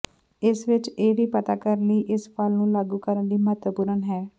ਇਸ ਵਿਚ ਇਹ ਵੀ ਪਤਾ ਕਰਨ ਲਈ ਇਸ ਫਲ ਨੂੰ ਲਾਗੂ ਕਰਨ ਲਈ ਮਹੱਤਵਪੂਰਨ ਹੈ